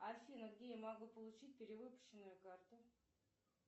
афина где я могу получить перевыпущенную карту